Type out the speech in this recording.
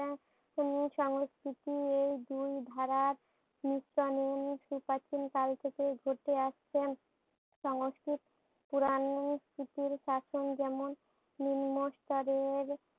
সংস্কৃতি এই দুই ধারা মিশ্রনে সু প্রাচীন কাল থেকে ঘটে আসছেন সংস্কৃত পুরানো স্মৃতির কাতোন যেমন নিম্নস্তরের